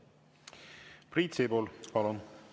Priit Sibul, palun!